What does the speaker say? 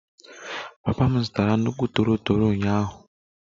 Papa m zụtara nnukwu toro toro ụnyaahụ